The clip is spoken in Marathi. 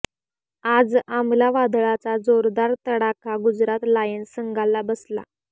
आज आमला वादळाचा जोरदार तडाखा गुजरात लायन्स संघाला बसला